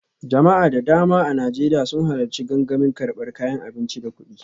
Jama'a da dama a Najeriya sun halarci gangamin karbar kayan abinci da kudi